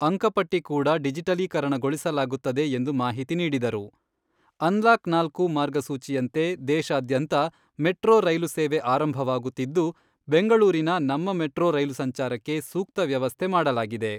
ಅಂಕಪಟ್ಟಿ ಕೂಡ ಡಿಜಿಟಲೀಕರಣಗೊಳಿಸಲಾಗುತ್ತದೆ ಎಂದು ಮಾಹಿತಿ ನೀಡಿದರು. ಅನ್ಲಾಕ್ ನಾಲ್ಕು, ಮಾರ್ಗಸೂಚಿಯಂತೆ ದೇಶಾದ್ಯಂತ ಮೆಟ್ರೋ ರೈಲು ಸೇವೆ ಆರಂಭವಾಗುತ್ತಿದ್ದು, ಬೆಂಗಳೂರಿನ ನಮ್ಮ ಮೆಟ್ರೋ ರೈಲು ಸಂಚಾರಕ್ಕೆ ಸೂಕ್ತ ವ್ಯವಸ್ಥೆ ಮಾಡಲಾಗಿದೆ.